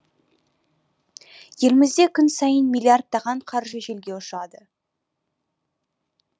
елімізде күн сайын миллиардтаған қаржы желге ұшады